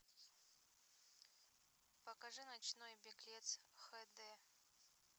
покажи ночной беглец хд